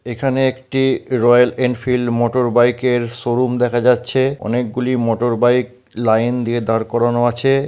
এখানে একটি Royal Enfield motor bike এর শোরুম দেখা যাচ্ছে অনেকগুলি মোটর বাইক লাইন দিয়ে দাঁড় করানো আছে।